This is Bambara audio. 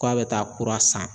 Ko a bɛ taa kura san